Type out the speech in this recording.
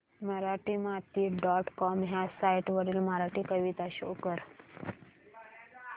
Marathimati dot com ह्या site वरील मराठी कविता शो कर